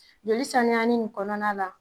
Joli saniyani nin kɔnɔna la